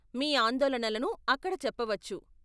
మీ ఆందోళనలను ఆక్కడ చెప్పవచ్చు.